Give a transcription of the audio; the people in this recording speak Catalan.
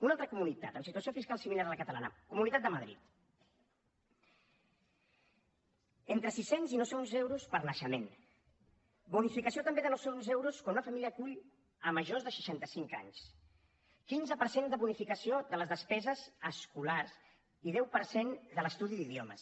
una altra comunitat amb situació fiscal similar a la catalana comunitat de madrid entre sis cents i nou cents euros per naixement bonificació també de noucents euros quan una família acull majors de seixanta cinc anys quinze per cent de bonificació de les despeses escolars i deu per cent de l’estudi d’idiomes